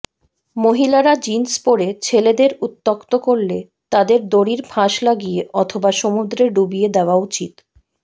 মহিলারা জিন্স পরে ছেলেদের উত্যক্ত করলে তাদের দড়ির ফাঁস লাগিয়ে অথবা সমুদ্রে ডুবিয়ে দেওয়া উচিৎ